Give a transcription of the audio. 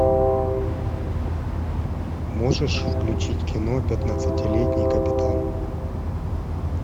можешь включить кино пятнадцатилетний капитан